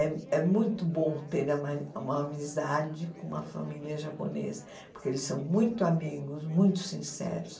É é muito bom ter uma uma amizade com uma família japonesa, porque eles são muito amigos, muito sinceros.